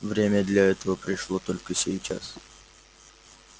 время для этого пришло только сейчас